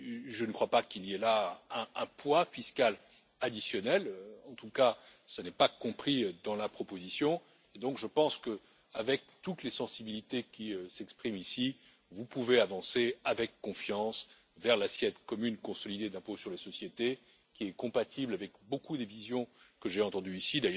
Je ne crois pas qu'il y ait là un poids fiscal additionnel en tout cas ce n'est pas compris dans la proposition et donc je pense que, avec toutes les sensibilités qui s'expriment ici, vous pouvez avancer avec confiance vers l'assiette commune consolidée pour l'impôt sur les sociétés qui est compatible avec une grande partie des visions que j'ai entendues ici.